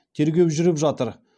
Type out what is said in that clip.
тергеу жүріп жатыр